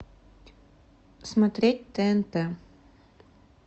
смотреть тнт